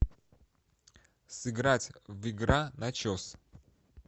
сыграть в игра начос